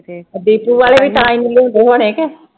ਆਹ ਡੀਪੂ ਵਾਲੇ ਵੀ ਤਾਂ ਹੋਣੇ ਕੇ